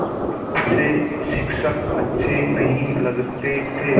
उसे शिक्षक अच्छे नहीं लगते थे